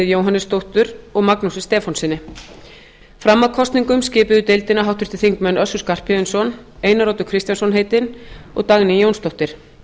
jóhannesdóttur og magnúsi stefánssyni fram að kosningum skipuðu deildina háttvirtir þingmenn össur skarphéðinsson einar oddur kristjánsson heitinn og dagný jónsdóttir